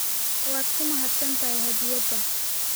Waad ku mahadsan tahay hadiyadda